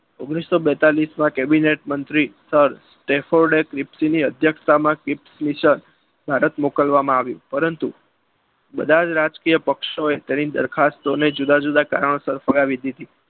ઓગણીસો બેતાલીસ માં કેબિનેટ મંત્રી સર સ્ટેફર્ડ ની અધ્યક્ષતામાં ભારત મોકલવામાં આવ્યું પરંતુ બધા જ રાજકીય પક્ષોએ તેના દરખાસ્તોને જુદા જુદા કારણે ફગાવી દીધી.